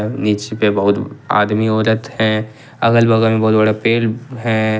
नीचे पे बहुत आदमी औरत है अगल बगल बहुत बड़ा पेड़ है ।